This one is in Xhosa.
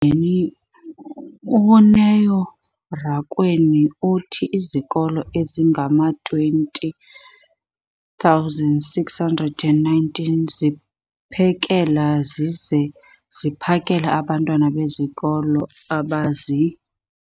beni, uNeo Rakwena, uthi izikolo ezingama-20 619 ziphekela zize ziphakele abantwana besikolo abazi-